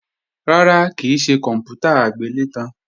Rárá, kì í ṣe kòǹpútà agbélétan